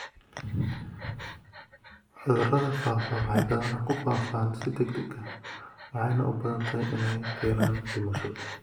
Cudurada faafa waxay badanaa ku faafaan si degdeg ah waxayna u badan tahay inay keenaan dhimasho.